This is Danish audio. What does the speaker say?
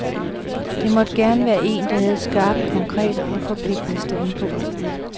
Det måtte gerne være en, der havde et skarpt, konkret og forpligtende standpunkt.